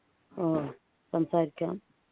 ഓ സംസാരിക്കാം